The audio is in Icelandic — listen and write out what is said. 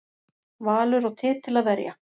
Valur á titil að verja